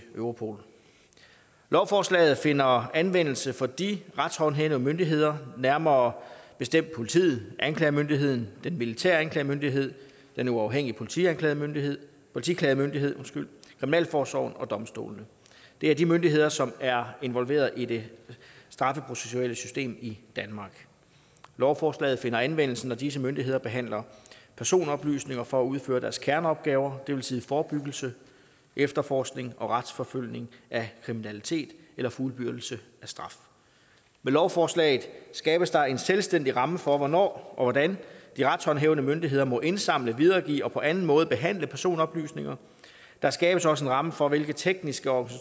europol lovforslaget finder anvendelse for de retshåndhævende myndigheder nærmere bestemt politiet og anklagemyndigheden den militære anklagemyndighed den uafhængige politiklagemyndighed politiklagemyndighed kriminalforsorgen og domstolene det er de myndigheder som er involveret i det straffeprocessuelle system i danmark lovforslaget finder anvendelse når disse myndigheder behandler personoplysninger for at udføre deres kerneopgaver det vil sige forebyggelse efterforskning og retsforfølgelse af kriminalitet eller fuldbyrdelse af straf med lovforslaget skabes der en selvstændig ramme for hvornår og hvordan de retshåndhævende myndigheder må indsamle videregive og på anden måde behandle personoplysninger der skabes også en ramme for hvilke tekniske og